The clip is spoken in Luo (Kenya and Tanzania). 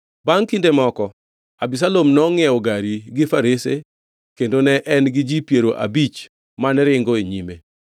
Bangʼ kinde moko, Abisalom nongʼiewo gari gi farese kendo ne en gi ji piero abich mane ringo e nyime.